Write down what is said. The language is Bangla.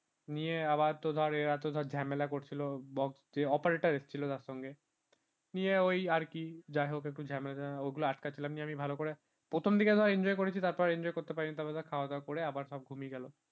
নিয়ে আবার তো ধরে এরা তো ধর ঝামেলা করছিল box operator এসেছিল তার সঙ্গে নিয়ে ওই আর কি যাই হোক একটু ঝামেলা ওগুলো আটকাচ্ছিল যে আমি ভালো করে প্রথম দিকে ধর্ enjoy করেছি তারপর enjoy করতে পারিনি তারপর খাওয়া দাওয়া করে আবার সব ঘুমিয়ে গেল